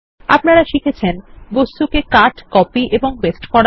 আপনারা শিখেছেন বস্তুকে কাটা কপি পেস্ট করা